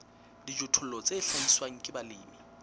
dijothollo tse hlahiswang ke balemi